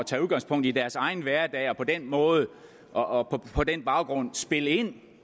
tage udgangspunkt i deres egen hverdag og på den måde og på den baggrund spiller ind